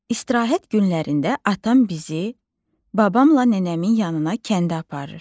İstirahət günlərində atam bizi babamla nənəmin yanına kəndə aparır.